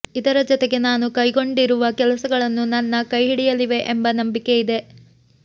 ಇದರ ಜತೆಗೆ ನಾನು ಕೈಗೊಂಡಿರುವ ಕೆಲಸಗಳು ನನ್ನ ಕೈಹಿಡಿಯಲಿವೆ ಎಂಬ ನಂಬಿಕೆ ಇದೆ